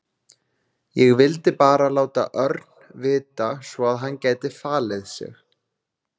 Ég vildi bara láta Örn vita svo að hann gæti falið sig.